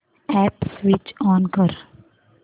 app switch on कर